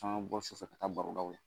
K'an ka bɔ so ka taa barodaw la